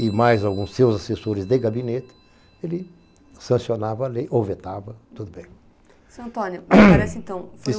e mais alguns seus assessores de gabinete, ele sancionava a lei ou vetava, tudo bem.